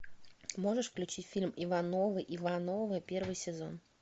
можешь включить фильм ивановы ивановы первый сезон